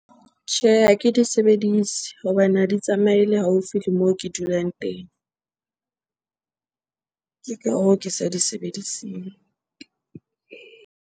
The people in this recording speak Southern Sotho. Tjhe, ha ke di sebedise hobane ha di tsamaele haufi le moo ke dulang teng. Ke ka hoo ke sa di sebediseng.